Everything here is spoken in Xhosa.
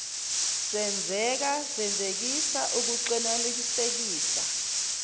senzeka senzisisa ukuxclelanisekisisa